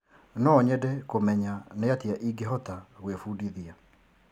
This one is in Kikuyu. No nyende kũmenya nĩ atĩa ingĩhota gwĩbundithia.